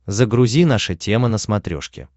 загрузи наша тема на смотрешке